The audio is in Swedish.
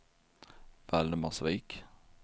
Valdemarsvik